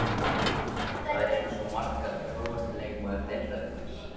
Þær eru svo margar Grófasti leikmaður deildarinnar?